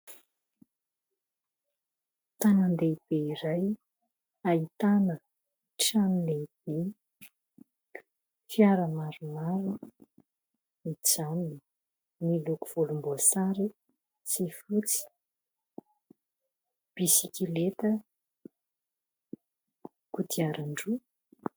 Tanan-dehibe iray ahitana trano lehibe, fiara maromaro mijanona miloko volom-boasary sy fotsy, bisikileta, kodiaran-droa.